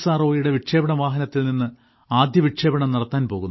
ഒയുടെ വിക്ഷേപണ വാഹനത്തിൽനിന്ന് ആദ്യ വിക്ഷേപണം നടത്താൻ പോകുന്നു